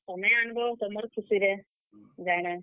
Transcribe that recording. ତମେ ଆନ୍ ବ ତୁମର୍ ଖୁସିରେ, ଜାଣା।